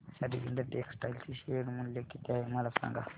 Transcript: Arvind textile चे share मूल्य किती आहे मला सांगा